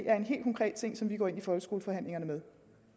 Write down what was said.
er en helt konkret ting som vi går ind folkeskoleforhandlingerne med